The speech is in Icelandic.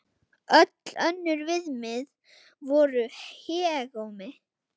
Öll önnur viðmið voru hégómi.